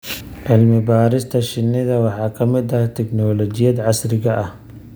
Cilmi-baarista shinnida waxaa ka mid ah tignoolajiyada casriga ah.